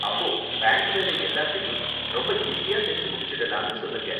அப்போ பேங்க் வேலை எல்லாத்தையும் ரொம்ப ஈஸியா செஞ்சு முடிச்சிடலாம்னு சொல்லுங்க.